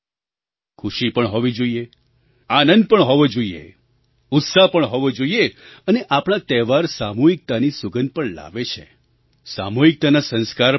ખુશી પણ હોવી જોઈએ આનંદ પણ હોવો જોઈએ ઉત્સાહ પણ હોવો જોઈએ અને આપણા તહેવાર સામૂહિકતાની સુગંધ પણ લાવે છે સામૂહિકતાના સંસ્કાર પણ લાવે છે